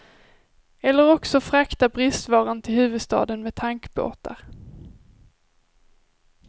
Eller också frakta bristvaran till huvudstaden med tankbåtar.